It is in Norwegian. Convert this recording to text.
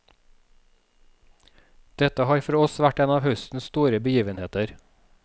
Dette har for oss vært en av høstens store begivenheter.